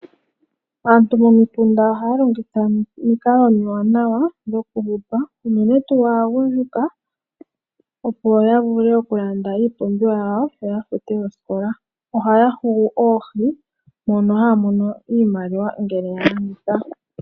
Aantu momikunda ohaya longitha omikalo omiwanawa dhokuhupa unene tuu aagundjuka, opo ya vule oku ka landa iipumbiwa yawo yo ya fute oosikola. Ohaya hugu oohi mono haya mono iimaliwa ngele ya landitha.